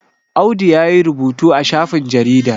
Audu ya yi rubutu a shafin jaridar